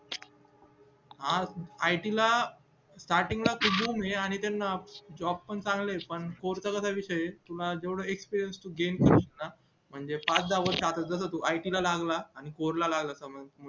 आज it ला starting खूप हे आणि त्याना job पण चांगले ये score चा काय विषय ये तुला जेवढ gain करतोस ना म्हणजे पाच दहा वर्ष आपण जगतो it ला लागला आणि score ला लागला समज